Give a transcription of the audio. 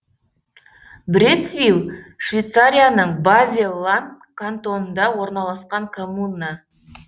брецвиль швейцарияның базель ланд кантонында орналасқан коммуна